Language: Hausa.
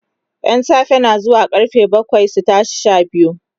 ƴan safe na zuwa karfe bakwai su tashi Sha biyu